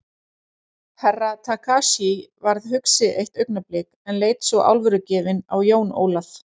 Herra Takashi varð hugsi eitt augnablik en leit svo alvörugefinn á Jón Ólaf.